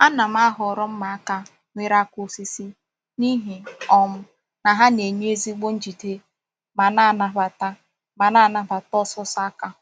A na-ahọrọ mma aka nwere aka osisi n’ihi um na ha na-enye ezigbo njide ma na-anabata ma na-anabata ọsụsọ aka.